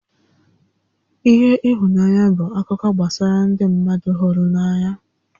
ihe ihunanya bụ akụkọ gbasara ndị mmadụ hụrụ n'anya